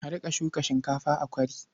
A riƙa shuka shinkafa a kwari.